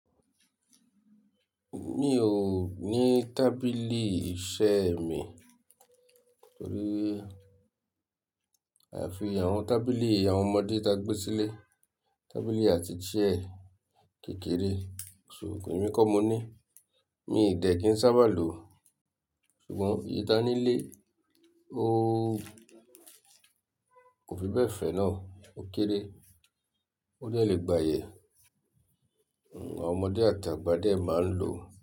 Mi o ni tábìlì iṣẹ́ mi, torí afi àwọn tábìlì àwọn ọmọdé ta gbé sílẹ̀ tábìlì àti chair kékeré, ṣo èmi kọ́ mo ní, mi dẹ̀ kí n sábà lo, ṣùgbọ́n èyí tá nílé, ó kò fi bẹ́ẹ̀ fẹ́ náà, ó kéré, ó dẹ̀ le gbayẹ. Àwọn ọmọdé àti àgbà dẹ̀ máa ń lò ó.